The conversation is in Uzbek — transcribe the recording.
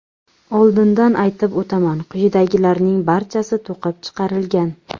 Oldindan aytib o‘taman, quyidagilarning barchasi to‘qib chiqarilgan.